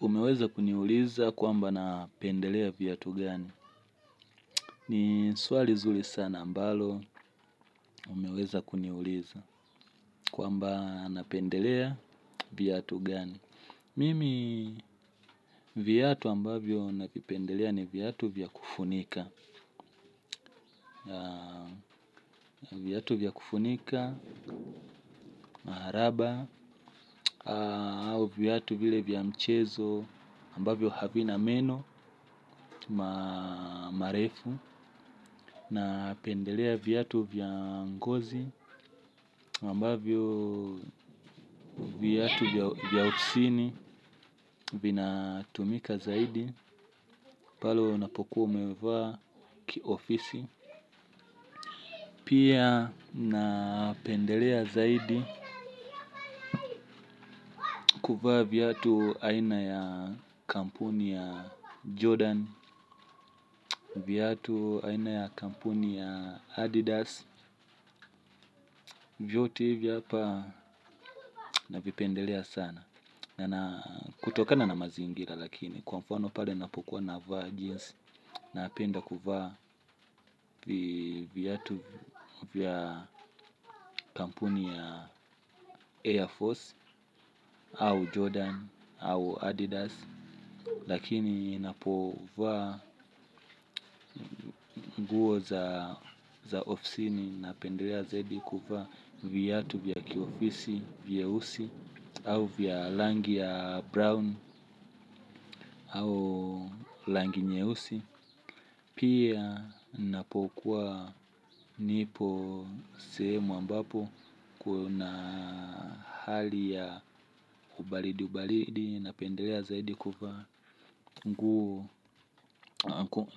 Umeweza kuniuliza kwamba napendelea viatu gani? Ni swali nzuri sana ambalo umeweza kuniuliza kwamba napendelea viatu gani? Mimi viatu ambavyo navipendelea ni viatu vya kufunika viatu vya kufunika, raba au viatu vile vya mchezo ambavyo havina meno, marefu. Napendelea viatu vya ngozi na ambavyo viatu vya ofisini vinatumika zaidi. Pale unapokuwa umevaa kiofisi. Pia napendelea zaidi kuvaa viatu aina ya kampuni ya Jordan viatu aina ya kampuni ya Adidas. Vyote vya navipendelea sana na kutokana na mazingira lakini kwa mfano pale napokuwa navaa jeans napenda kuvaa viatu vya kampuni ya AirForce au Jordan au Adidas. Lakini napovaa nguo za ofisini napendelea zaidi kuvaa viatu vya kiofisi, vieusi au vya rangi ya Brown au rangi nyeusi. Pia napokuwa nipo sehemu ambapo kuna ubaridi ubaridi napendelea zaidi kuvaa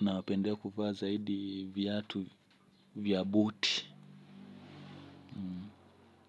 napendelea kuvaa zaidi viatu vya buti.